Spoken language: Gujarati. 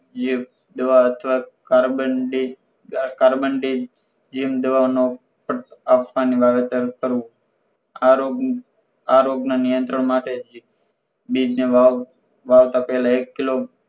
ની દવા અથવા કારબોનડી કારબોનડી જેમ દવાનો આપવાનો વાવેતર કરવું આ રોગ આ રોગ ના નિયત્રણ માટે બીજ ને વાવવું વાવતા પહેલા એક કિલો